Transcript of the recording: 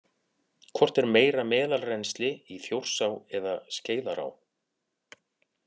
Hvort er meira meðalrennsli í Þjórsá eða Skeiðará?